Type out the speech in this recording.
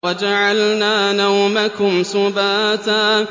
وَجَعَلْنَا نَوْمَكُمْ سُبَاتًا